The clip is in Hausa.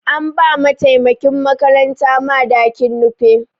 An ba mataimakin makaranta madakin Nupe.